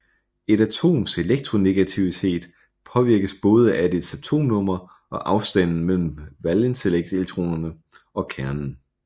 Et atoms elektronegativitet påvirkes både af dets atomnummer og afstanden mellem valenselektronerne og kernen